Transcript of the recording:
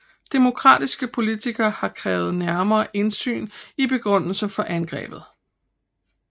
Demokratiske politikere har krævet nærmere indsyn i begrundelsen for angrebet